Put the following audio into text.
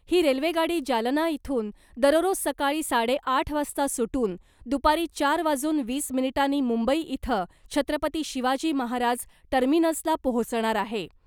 ही रेल्वेगाडी जालना इथून दररोज सकाळी साडे आठ वाजता सुटून , दुपारी चार वाजून वीस मिनिटांनी मुंबई इथं छत्रपती शिवाजी महाराज टर्मिनसला पोहोचणार आहे .